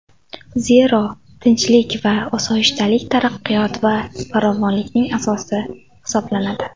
Zero, tinchlik va osoyishtalik taraqqiyot va farovonlikning asosi hisoblanadi.